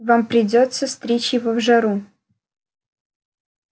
вам придётся стричь его в жару